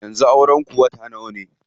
Yanzu auren ku wata nawa ne?